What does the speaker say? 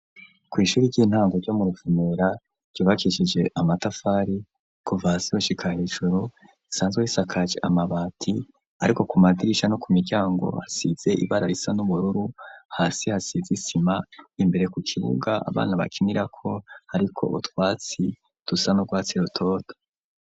Kw'ishuri ry'intango ryo mu rvunura ryubakishije amatafari ku vasiushika hejuru isanzwe hisakaje amabati ariko ku madirisha no ku miryango hasize ibara risa n'ubururu hasi hasize isima imbere ku kibuga abana bakinira ko ariko ubutwatsi dusa n'ubwatsi rutoto.